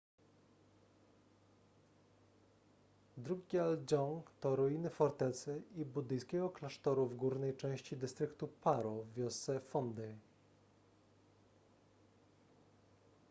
drukgyal dzong to ruiny fortecy i buddyjskiego klasztoru w górnej części dystryktu paro w wiosce phondey